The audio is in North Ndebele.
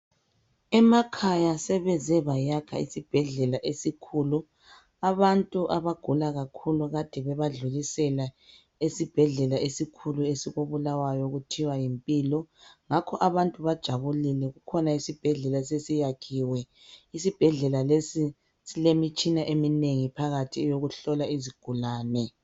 Emakhaya sebeze bayakha isibhedlela esikhulu. Abantu abagula kakhulu kade bebadlulisela esibhedlela esikhulu esikoBulawayo okuthiwa yi Mpilo. Ngakho abantu bajabulile kukhona isibhedlela esiyakhiwe isibhedlela lesi silemitshina eminengi phakathi eyokuhlola izigulane.